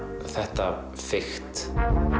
þetta fikt